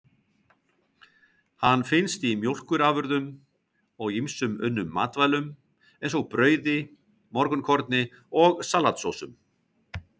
Hann finnst í mjólkurafurðum og í ýmsum unnum matvælum, eins og brauði, morgunkorni og salatsósum.